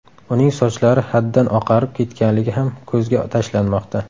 Uning sochlari haddan oqarib ketganligi ham ko‘zga tashlanmoqda.